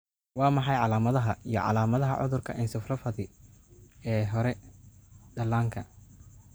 Waa maxay calaamadaha iyo calaamadaha cudurka encephalopathy ee hore ee dhallaanka?